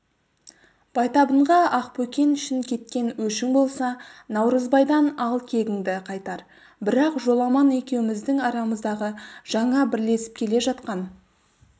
байтабынға ақбөкен үшін кеткен өшің болса наурызбайдан ал кегіңді қайтар бірақ жоламан екеуміздің арамыздағы жаңа бірлесіп келе жатқан